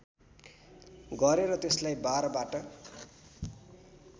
गरेर त्यसलाई बारबाट